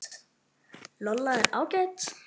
Lolla er ágæt.